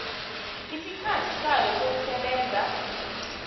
isikhathi sayo sokusebenza